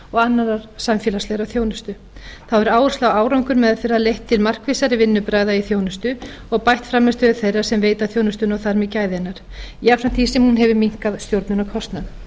annarrar samfélagslegrar þjónustu þá hefur áhersla á árangur meðferðar leitt til markvissari vinnubragða í þjónustu og bætt frammistöðu þeirra sem veita þjónustuna og þar með gæði hennar jafnframt því sem hún hefur minnkað stjórnunarkostnað